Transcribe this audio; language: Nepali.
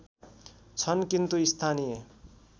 छन् किन्तु स्थानीय